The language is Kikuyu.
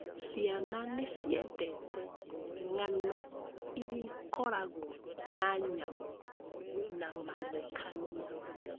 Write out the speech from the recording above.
Ciana nĩ ciendete ng'ano iria ikoragwo na nyamũ na mathekania.